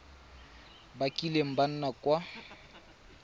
ba kileng ba nna kwa